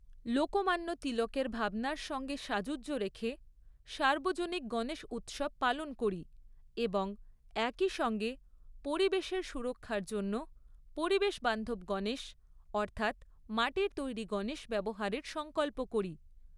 লোকমান্য তিলকের ভাবনার সঙ্গে সাযুজ্য রেখে সার্বজনিক গণেশ উৎসব পালন করি এবং একই সঙ্গে পরিবেশের সুরক্ষার জন্য পরিবেশ বান্ধব গণেশ অর্থাৎ মাটির তৈরি গণেশ ব্যবহারের সঙ্কল্প করি।